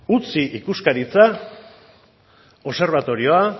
utzi ikuskaritza obserbatorioa